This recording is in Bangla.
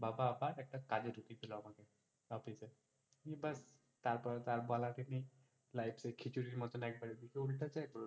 বাবা আবার একটা কাজে ঢুকিয়ে দিলো, আমাকে office এ এবার, তারপর তো আর বলারই নেই life টাই খিচুরীর মতো একবার উল্টে যায়।